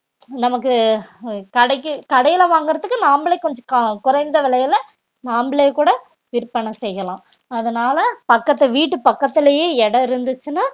நமக்கு அஹ் கடைக்கு கடையில வாங்குறதுக்கு நாமளே கொஞ்சம் க~ குறைந்த விலையில நம்பளே கூட விற்பனை செய்யலாம் அதனால பக்கத்து வீட்டு பக்கத்திலேயே இடம் இருந்துச்சுன்னா